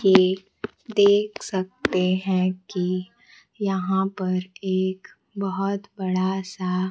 ये देख सकते हैं कि यहां पर एक बहोत बड़ा सा--